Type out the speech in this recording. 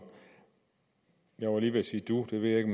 jeg var lige ved at sige du det ved jeg ikke